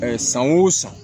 san o san